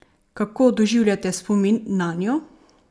Kako doživljate spomin nanjo?